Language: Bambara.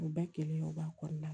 U bɛɛ kelen o b'a kɔnɔna la